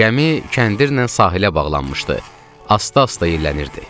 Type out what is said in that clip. Gəmi kəndirlə sahilə bağlanmışdı, asta-asta yellənirdi.